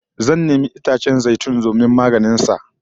Zan nemi itacen zai tun domin maganin sa